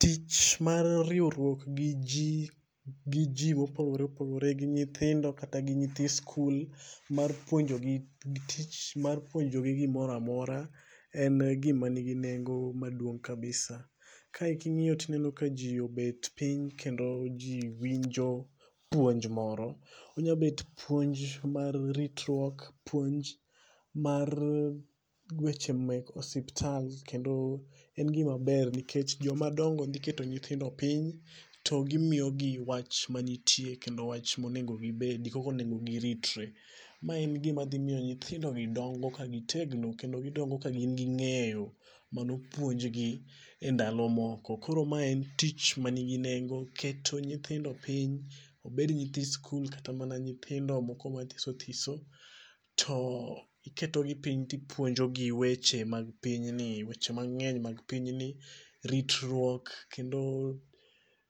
Tich mar riwruok gi ji, gi ji mopogore opogore gi nyithindo kata gi nyithi sikul mar puonjogi tich mar puonjogi gimoro amora en gima nigi nengo maduong' kabisa. Kae ka ing'iyo to iyudo kaji obet piny kendo jki wwinjo puonj moro onyalo bet puonj mar ritruok, puonj mar weche mek osiptal. En gima ber nikech jomadongo dhi keto nyithindompiny to gimiyogi wach mantie. Monego gibedi kaka onego giritre. Mae en gima dhi miyo nyithindogi dongo ka gitegno kendo gidongo ka gin gi ng'eyo manopuonjgi endalo moko. Koro mae en tich man gi nengo, keto nyithind piny obed nyithi sikul kata mana nyithindo moko mathiso thiso to iketogi piny to ipuonjogi weche mag pinyni weche mang'eny mag pinyni ritruok kendo